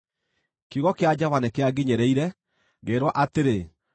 Kiugo kĩa Jehova nĩkĩanginyĩrĩire, ngĩĩrwo atĩrĩ: